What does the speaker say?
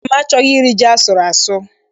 Nna m achọghị iri ji asụrụ asụ.